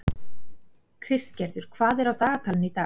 Kristgerður, hvað er á dagatalinu í dag?